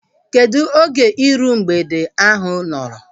Kedụ oge iru mgbede ahu nọrọ?